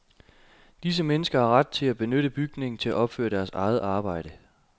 Disse mennesker har ret til at benytte bygningen til at opføre deres eget arbejde.